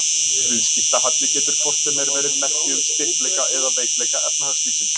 Viðskiptahalli getur hvort sem er verið merki um styrkleika eða veikleika efnahagslífsins.